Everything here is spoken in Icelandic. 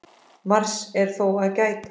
Margs er þó að gæta.